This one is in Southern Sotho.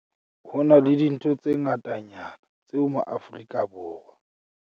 HO NA LE DINTHO tse ngatanyana tseo maAforika